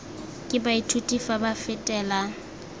ke baithuti fa ba fetela